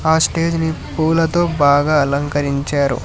ఆ స్టేజ్ ని పూలతో బాగా అలంకరించారు.